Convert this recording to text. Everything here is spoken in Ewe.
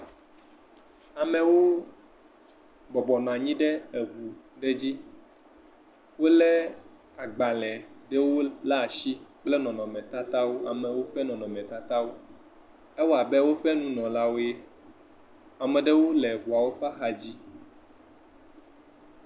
Amewo bɔbɔnɔ anyi ɖe eŋu ɖe dzi, wolé agbalẽ ɖewo la si, lé nɔnɔmetatawo, amewo ƒe nɔnɔmetatawo, ewɔ abe woƒe nunɔlawoe. Ame ɖewo le ŋuawo ƒa xa dzi.